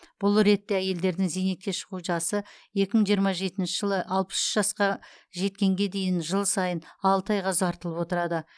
бұл ретте әйелдердің зейнетке шығу жасы екі мың жиырма жетінші жылы алпыс үш жасқа жеткенге дейін жыл сайын алты айға ұзартылып отырады